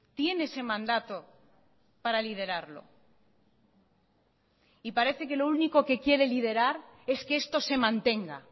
tiene ese mandato para liderarlo y parece que lo único que quiere liderar es que esto se mantenga